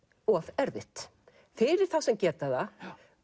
of erfitt fyrir þá sem geta það